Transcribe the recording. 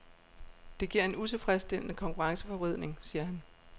Det giver en utilfredsstillende konkurrenceforvridning, siger han.